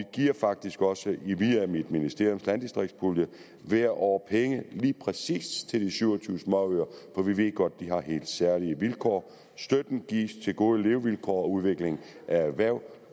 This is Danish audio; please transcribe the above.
giver faktisk også via mit ministeriums landdistriktspulje hvert år penge lige præcis de syv og tyve småøer for vi ved godt at de har helt særlige vilkår støtten gives til gode levevilkår og udvikling af erhverv